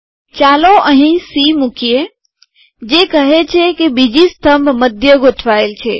ચાલો અહી સી મુકીએ જે કહે છે કે બીજી સ્તંભ મધ્ય ગોઠવાયેલ છે